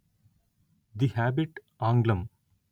the Hobbit ఆంగ్లం